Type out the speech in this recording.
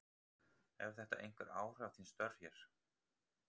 Hefur þetta einhver áhrif á þín stör hér?